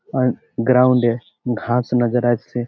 আর ground -এ ঘাস নজর আসছে।